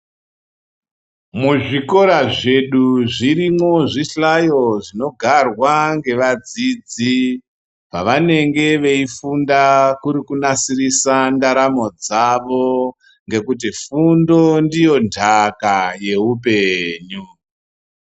Muzvikora zvedu zvirimo zvihlayo zvinogarwa ngevadzidzi, pavanenge veyifunda kunasirisa ndaramo dzavo ngekuti fundo ndiyo ndaka yehupenyu.